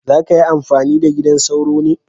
Za ka yi amfani da gidan sauro ne?